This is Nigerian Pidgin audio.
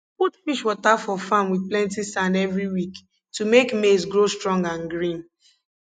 put fish water for farm with plenty sand every week to make maize grow strong and green